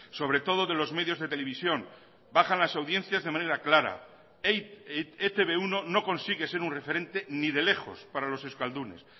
sobre todo de los medios de televisión bajan las audiencias de manera clara e te be uno no consigue ser un referente ni de lejos para los euskaldunes